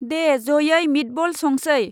दे जयै मिटबल संसै।